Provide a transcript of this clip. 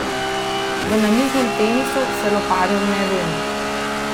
V namiznem tenisu se loparjev ne lomi.